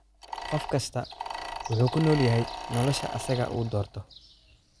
Qof kastaa wuxuu ku nool yahay nolosha asaga uu doorto